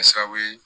Kɛ sababu ye